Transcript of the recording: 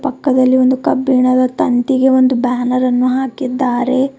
ಪಕ್ಕದಲ್ಲಿ ಒಂದು ಕಬ್ಬಿಣದ ತಂತಿಗೆ ಒಂದು ಬ್ಯಾನರ್ ಅನ್ನು ಹಾಕಿದ್ದಾರೆ.